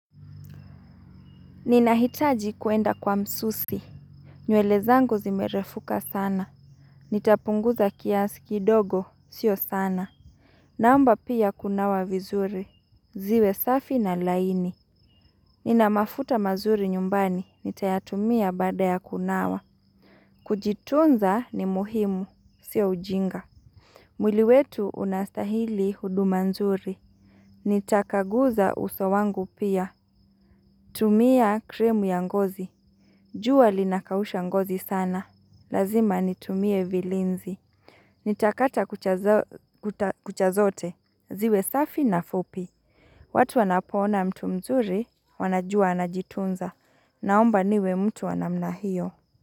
Ninahitaji kuenda kwa msusi nywele zangu zimerefuka sana Nitapunguza kiasi kidogo sio sana Naomba pia kunawa vizuri ziwe safi na laini Ninamafuta mazuri nyumbani Nitayatumia baada ya kunawa Kujitunza ni muhimu Sio ujinga mwili wetu unastahili huduma nzuri Nitakaguza uso wangu pia tumia kremu ya ngozi jua linakausha ngozi sana. Lazima nitumie vilinzi. Nitakata kucha zote. Ziwe safi na fupi. Watu wanapoona mtu mzuri wanajua anajitunza. Naomba niwe mtu wa namna hio.